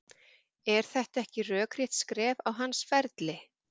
Er þetta ekki rökrétt skref á hans ferli?